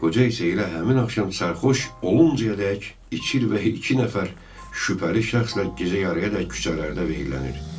Qoca isə elə həmin axşam sərxoş oluncayədək içir və iki nəfər şübhəli şəxslə gecə yarıyadək küçələrdə veyillənir.